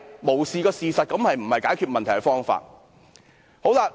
無視事實並非解決問題的方法。